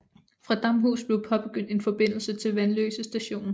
Fra Damhus blev påbegyndt en forbindelse til Vanløse Station